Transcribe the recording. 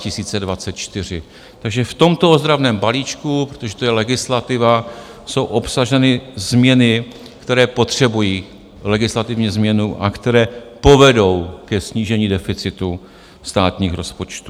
Takže v tomto ozdravném balíčku, protože to je legislativa, jsou obsaženy změny, které potřebují legislativní změnu a které povedou ke snížení deficitu státních rozpočtů.